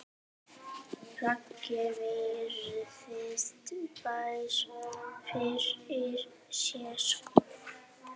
Raggi virðir þær fyrir sér.